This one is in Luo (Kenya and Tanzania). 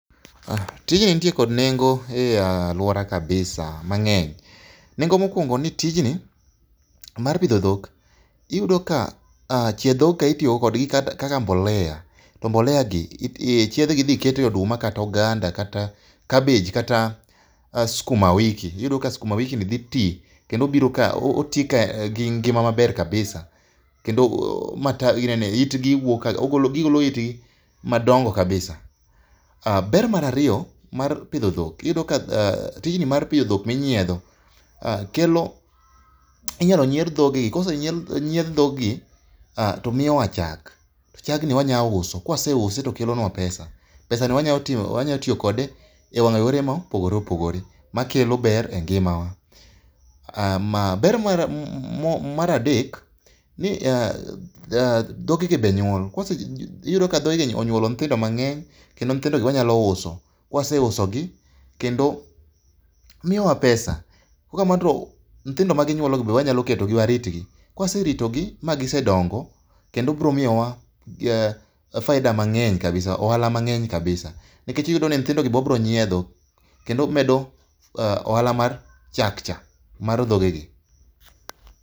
Tijni nitie kod nengo e aluora kabisa mangeny. Nengo mokuongo ni tijni mar pidho dhok iyudo ka chie dhok ka itiyo go kaka mbolea to mbolea gi, chiedhgi idhi kete oduma kata oganda, kabej kata skuma wiki. Iyudo ka skuma wiki gi dhi tii kendo biro ka, otii ka gingima maber kabisa kendo matawi, itgi wuok ka, gigolo itgi madongo kabisa. Ber mara riyo mar pidho dhok iyudo ka tijni mar pidho dhok minyiedho kelo, inyalo nyiedh dhog gi kosenyiedh dhog gi to miyo wa chak, chag ni wanya uso. Ka wase use to kelonwa pesa. Pesa no wanya ti kode e wanga yore mopogore opogore ma kelo ber e ngima wa. Ber mar adek ni dhoge gi be nyuol, iyudo ka dhoge gi onyuolo nyithindo mangeny kendo nyithindo gi wanya uso ka waseuso gi kendo miyowa pesa. Ka ok kamano to nythindo ma ginyuolo gi be wanya ketogi warit gi. Ka waseketo gi ma gisedongo kendo gibiro miyowa faida[c] mangeny kabisa[sc],ohala mangeny kabisa nikech iyudo ni nyithindo gi be wabro nyiedho kendo wamedo go ohala mar chak cha, mar dhoge gi